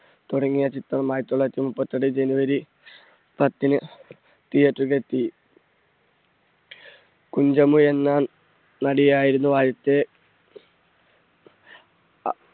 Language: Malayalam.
തുടങ്ങിയ ചിത്രം ആയിരത്തി തൊള്ളായിരത്തി മുപ്പത്തെട്ട് january പത്തിന് theatre ലേക്ക് എത്തി. കുഞ്ചമി എന്ന നടിയായിരുന്നു ആദ്യത്തെ അ